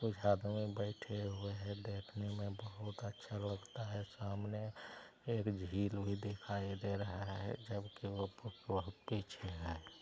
एक आदमी बैठे हुए है देखने मे बहुत अच्छा लगता है सामने एक झील भी दिखाई दे रहा है जब कि वो बहुत पीछे है।